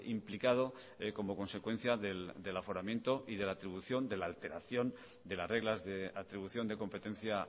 implicado como consecuencia del aforamiento y de la atribución de la alteración de las reglas de atribución de competencia